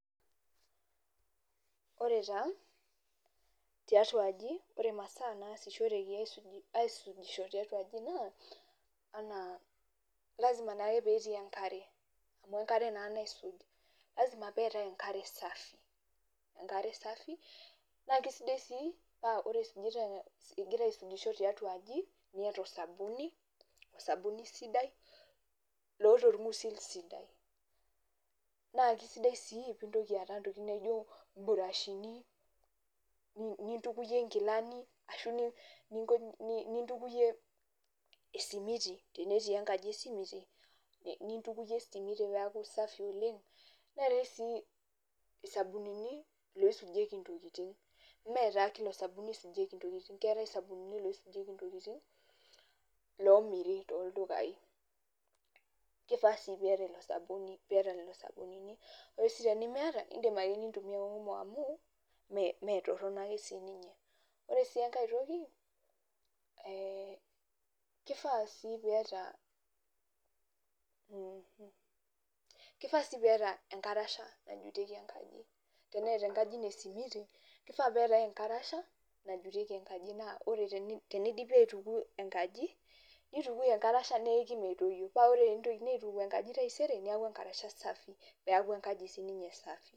Oore taa tiatua aaji, imasaaa naasishoreki aisujishore tiatua aaji naa, lazima naake peyie etii enkare, amuu enkare naa naisuj, lazima peetae nakre safi naa kesidi sii paa oore igira aisujisho taitua aaji niata osabuni, osabuni sidai loota orng'usil sidai. Naa kesidai sii peyie intoki aata intokitin naijo imbrashini, nimtukuyie inkilani, arashu nintukuyie esimiti, tenetii enkaji esimiti, nintukuyie esimiti peyie eaku safi oleng, neetae sii, isabunini loisujieki intokitin. iime taa kila osabuni eisujieki intokitin, keetae isabunini loisujieki intokitin lomiiri toldukai. Keifaa sii peyie eiata lelo sabunini naa tenemiata, iidim aake nintumia omo amuu imetoronok aake sininye. Oore sii enake toki keifaa sii peyie eiata enkarasha najutieki enkaji, teneeta enkaji iino esimiti, keifaa peyie iata enkarasha najutieki enkaji naa teneidipi aituku enkaji, neitukui enkarasha neiki metoyio paa ore peyie eitokini aituku enkaji taisere, niaku enkarasha safi. Peyie eiaku enkaji sininye safi.